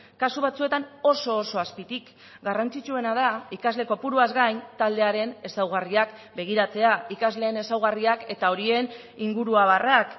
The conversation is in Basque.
kasu batzuetan oso oso azpitik garrantzitsuena da ikasle kopuruaz gain taldearen ezaugarriak begiratzea ikasleen ezaugarriak eta horien inguruabarrak